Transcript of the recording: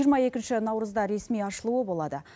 жиырма екінші наурызда ресми ашылуы болады